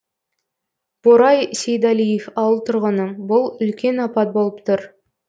борай сейдалиев ауыл тұрғыны бұл үлкен апат болып тұр